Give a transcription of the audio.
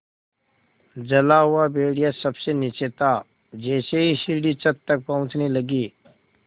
जला हुआ भेड़िया सबसे नीचे था जैसे ही सीढ़ी छत तक पहुँचने लगी